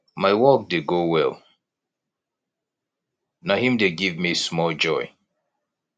my work dey go well na im dey give me small joy